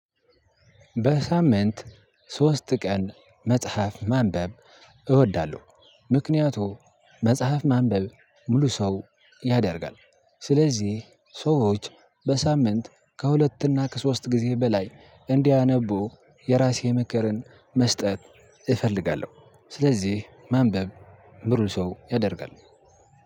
በሳምንት ሶስት ቀን መጽሐፍ ማንበብ እወዳለሁ። ምክንያቱ መጽሐፍ ማንበብ ሙሉ ሰው ያደርጋል። ስለዚህ ሰዎች በሳምንት ከሁለትና ከሶስት ጊዜ በላይ እንዲያነቡ የራሴን ምክርን መስጠት እፈልጋለሁ። ስለዚህ ማንበብ ሙሉ ሰው ያደርጋል።